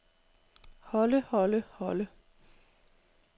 holde holde holde